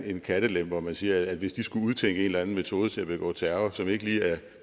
en kattelem hvor man siger at hvis de skulle udtænke en eller anden metode til at begå terror som ikke lige er